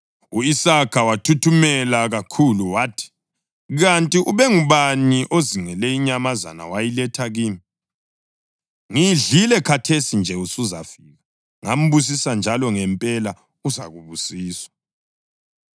U-Isaka wathuthumela kakhulu wathi, “Kanti ubengubani ozingele inyamazana wayiletha kimi? Ngiyidlile khathesi nje usuzafika, ngambusisa njalo ngempela uzakubusiswa!”